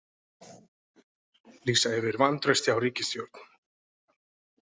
Lýsa yfir vantrausti á ríkisstjórn